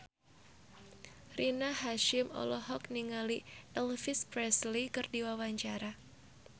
Rina Hasyim olohok ningali Elvis Presley keur diwawancara